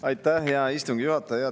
Aitäh, hea istungi juhataja!